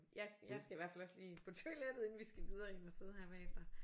Jeg skal i hvert fald også lige på toilettet inden vi skal videre ind og sidde her bagefter